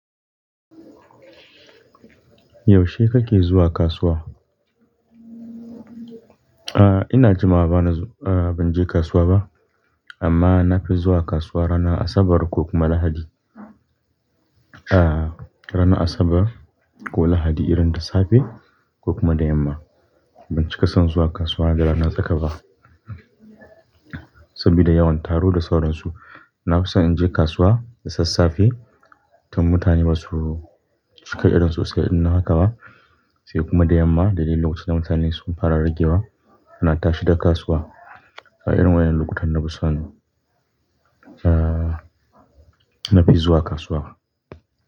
Yaushe kake zuwa kasuwa? A'a, ina jumawa bana zuwa-- a'a ban je kasuwa ba. Amma na fi zuwa kasuwa ranar Asabar ko kuma Lahadi. A'a, ranar Asabar ko Lahadi irin da safe ko kuma da yamma. Ban cika son zuwa kasuwa da rana tsa kaba saboda yawan taro da saurinsu. Na fi son in je kasuwa da sassafe tun mutane ba su cika irin so sai in nan haka ba, sai kuma da yamma da duk lokacin da mutane sun fara ragewa ana tashi daga kasuwa. Irin waɗannan lokutan na fi so. A'a, na fi zuwa kasuwa.